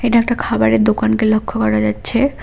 এটা একটা খাবারের দোকানকে লক্ষ্য করা যাচ্ছে।